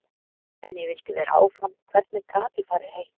En ég vildi vera áfram, hvernig gat ég farið heim?